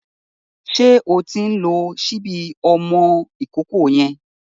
Ṣé o ti ń lo ṣíbí ọmọ ìkókó yẹn?